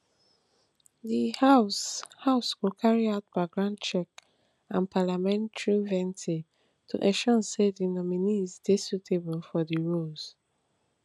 di house house go carry out background checks and parliamentary vetting to ensure say di nominees dey suitable for di roles